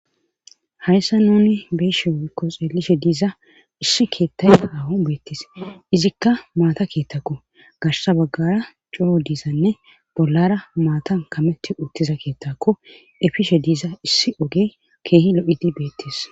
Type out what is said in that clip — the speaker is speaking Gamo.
hayssa nuni beeshe woykko xeelishe diiza issi keettayta hawon beettis izikka maata keettako gashsa baggara curo diizanne bollara maatan kametti uttiza keettakko efishe diiza issi oge keehi lo7idi beettis